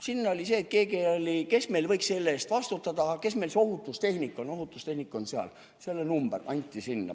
Seal oli nii, et keegi ütles, et kes meil võiks selle eest vastutada, kes meil see ohutustehnik on, ohutustehnik on seal, selle number anti sinna.